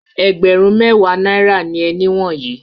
Ẹgbẹ̀rún-mẹ́wàá náírà ni ẹni wọ̀nyí.